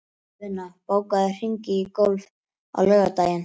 Luna, bókaðu hring í golf á laugardaginn.